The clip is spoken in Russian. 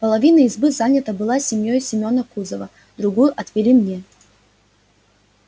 половина избы занята была семьёю семена кузова другую отвели мне